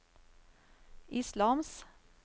islams